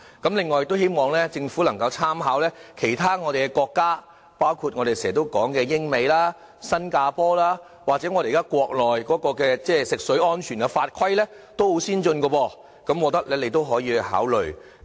同時，也希望政府能夠參考其他國家的做法，包括我們經常提到的英國、美國、新加坡，國內現時食水安全的法規也很先進，我認為你們均可考慮。